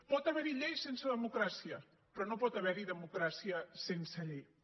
pot haver hi lleis sense democràcia però no pot haver hi democràcia sense lleis